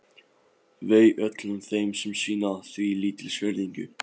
Vei öllum þeim sem sýna því lítilsvirðingu.